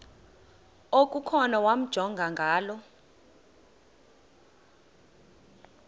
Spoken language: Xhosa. okukhona wamjongay ngaloo